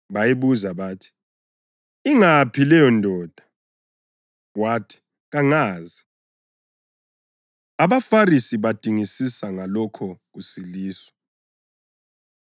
Bayibuza bathi, “Ingaphi leyondoda?” Wathi, “Kangazi.” AbaFarisi Badingisisa Ngalokho Kusiliswa